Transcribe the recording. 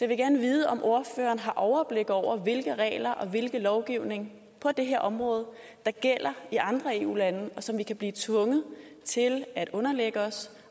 vil gerne vide om ordføreren har overblik over hvilke regler og hvilke lovgivninger på det her område der gælder i andre eu lande og som vi kan blive tvunget til at underlægge os